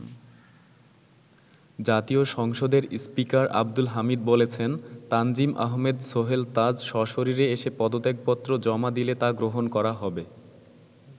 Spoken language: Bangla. জাতীয় সংসদের স্পীকার আব্দুল হামিদ বলেছেন, তানজিম আহমেদ সোহেল তাজ সশরীরে এসে পদত্যাপত্র জমা দিলে তা গ্রহণ করা হবে।